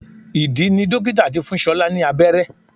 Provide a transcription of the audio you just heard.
Ìdí ni dókítà tí fún ṣọlá ní abẹ́rẹ́